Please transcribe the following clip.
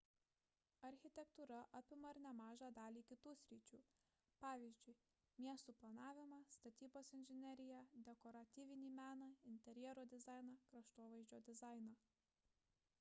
architektūra apima ir nemažą dalį kitų sričių pavyzdžiui miestų planavimą statybos inžineriją dekoratyvinį meną interjero dizainą kraštovaizdžio dizainą